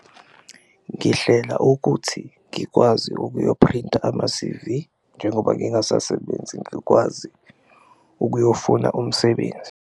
Ngihlela ukuthi ngikwazi ukuyophrinta ama-C_V njengoba ngingasasebenzi ngikwazi ukuyofuna umsebenzi.